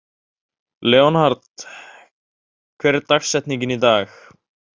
Leonhard, hver er dagsetningin í dag?